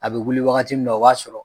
A bɛ wuli waagati min na o b'a sɔrɔ.